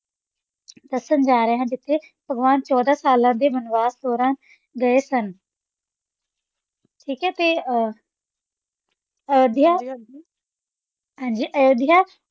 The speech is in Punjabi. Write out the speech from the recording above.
ਦੱਸਣ ਜਾ ਰਹੇ ਹਾਂ ਜਿੱਥੇ ਭਗਵਾਨ ਚੋਦਾਂ ਸਾਲਾਂ ਦੇ ਬਨਵਾਸ ਦੌਰਾਨ ਗਏ ਸਨ। ਠੀਕ ਹੈ ਤੇ ਅਹ ਅਯੋਧਿਆ, ਹਾਂਜੀ ਅਯੁੱਧਿਆ